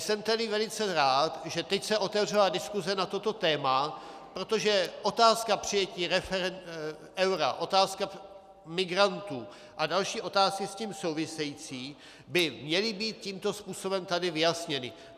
Jsem tedy velice rád, že teď se otevřela diskuse na toto téma, protože otázka přijetí eura, otázka migrantů a další otázky s tím související by měly být tímto způsobem tady vyjasněny.